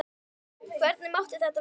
Hvernig mátti þetta verða?